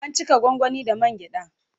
An cika gwangwani da man gyaɗa.